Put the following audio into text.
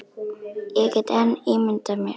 Ég get enn ímyndað mér!